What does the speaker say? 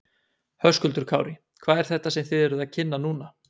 Höskuldur Kári: Hvað er þetta sem að þið eruð að kynna núna?